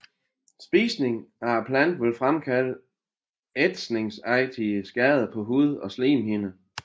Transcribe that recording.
Spisning af planten vil fremkalde ætsningsagtige skader på hud og slimhinder